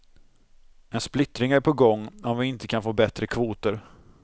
En splittring är på gång om vi inte kan få bättre kvoter.